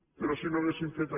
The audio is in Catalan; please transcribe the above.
però si no haguessin fet